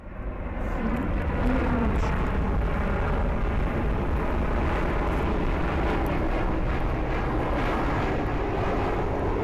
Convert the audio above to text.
фильм дурнушка